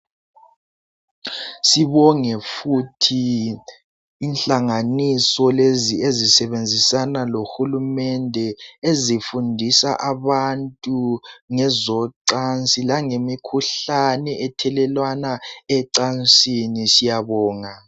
Sibonge futhi inhlanganiso lezi ezisebenzina lohulumende ezifundisa abantu ngezocansi langemikhuhlane ethelelwana ecansini siyabonga